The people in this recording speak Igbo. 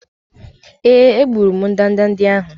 Èé, egburu m ndanda ndị ahụ.